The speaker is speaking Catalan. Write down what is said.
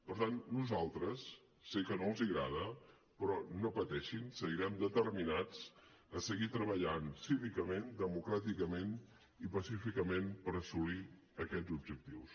per tant nosaltres sé que no els agrada però no pateixin seguirem determinats a seguir treballant cívicament democràticament i pacíficament per assolir aquests objectius